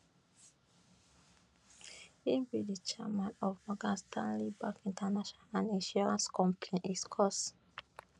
e be di chairman of morgan stanley bank international and insurance company hiscox